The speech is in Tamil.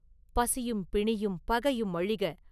“பசியும் பிணியும் பகையும் அழிக!